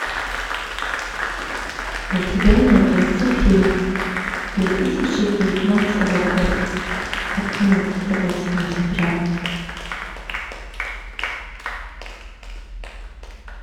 у тебя найдется фильм две тысячи девятнадцатого года одиннадцатого сентября